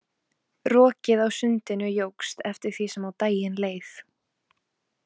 Rokið á sundinu jókst eftir því sem á daginn leið.